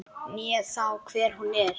né þá hver hún er.